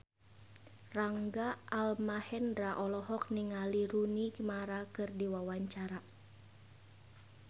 Rangga Almahendra olohok ningali Rooney Mara keur diwawancara